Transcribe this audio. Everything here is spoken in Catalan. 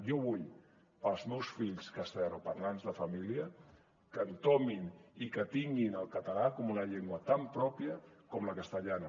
jo vull per als meus fills castellanoparlants de família que entomin i que tinguin el català com una llengua tan pròpia com la castellana